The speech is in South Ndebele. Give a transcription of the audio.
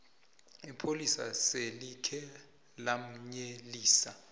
ipholisa selikhe lamyelelisa